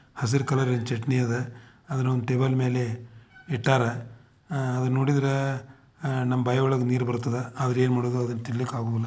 ಹಸಿರು ಕಲರ ಇನ ಚಟ್ನಿ ಅದ. ಅದನ ಒಂದ್ ಟೇಬಲ್ ಮೇಲೆ ಇಟ್ಟಾರ. ಅಹ್ ಅದನ್ನ ನೋಡಿದ್ರ ಅಹ್ ನಮ್ ಬಾಯ್ ಒಳಗ್ ನೀರ್ ಬರ್ತದ. ಆದ್ರ ಏನ್ ಮಾಡೋದು ಅದನ್ನ ತಿನ್ನಲಿಕ್ಕ ಆಗುದಿಲ್ಲ.